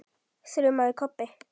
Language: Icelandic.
þrumaði Kobbi.